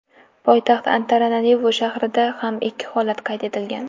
Poytaxt Antananarivu shahrida ham ikki holat qayd etilgan.